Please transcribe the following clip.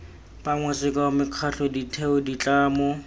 bangwe sekao mekgatlho ditheo ditlamo